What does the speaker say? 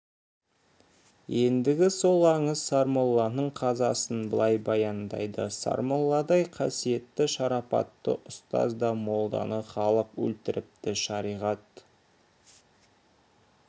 ендігі сол аңыз сармолланың қазасын былай баяндайды сармолладай қасиетті шарапатты ұстаз да молданы халық өлтіріпті шариғат